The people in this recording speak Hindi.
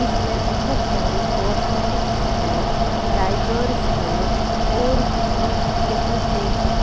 इसमें बहुत सारे कॉस्मेटिक्स है डायपर्स है और कुछ यहां से भी.